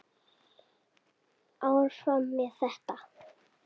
Áfram með þetta.